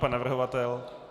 Pan navrhovatel?